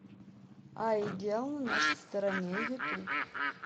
аигел на нашей стороне ютуб